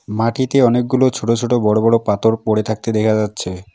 মাটিতে অনেকগুলো ছোট ছোট বড় বড় পাতর পড়ে থাকতে দেখা যাচ্ছে।